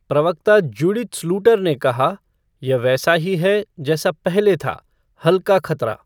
प्रवक्ता Judith Sluiter ने कहा "यह वैसा ही है जैसा पहले था, हल्का खतरा।"